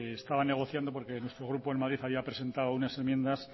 se estaba negociando porque nuestro grupo en madrid había presentado unas enmiendas